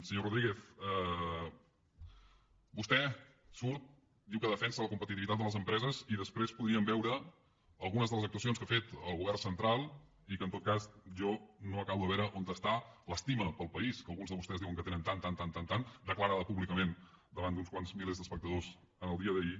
senyor rodríguez vostè surt diu que defensa la competitivitat de les empreses i després podríem veure algunes de les actuacions que ha fet el govern central i en què en tot cas jo no acabo de veure on és l’estima pel país que alguns de vostès diuen que tenen tant tant tant declarada públicament davant d’uns quants milers d’espectadors en el dia d’ahir